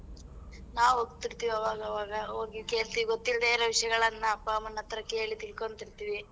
ನಾವ್ ಹೋಗ್ತಿರ್ತಿವಿ ಅವಗವಾಗ ಹೋಗಿ ಕೇಳ್ತ್ ಗೊತ್ತಿಲ್ದೆ ಇರೋ ವಿಷ್ಯಗಳನ್ನ ಅಪ್ಪ ಅಮ್ಮನ್ ಹತ್ರ ಕೇಳಿ ತಿಳ್ಕೊಂತಿರ್ತಿವಿ.